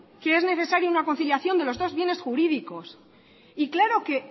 que es necesaria una conciliación de los dos bienes jurídicos y claro que